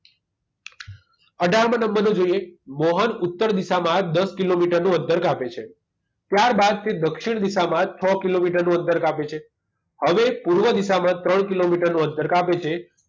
અઢાર માં નંબર નું જોઈએ મોહન ઉત્તર દિશામાં દસ કિલોમીટરનું અંતર કાપે છે ત્યારબાદ તે દક્ષિણ દિશામાં છ કિલોમીટર નું અંતર કાપે છે હવે પૂર્વ દિશામાં ત્રણ કિલોમીટરનું અંતર કાપે છે